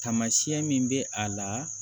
Tamasiyɛn min bɛ a la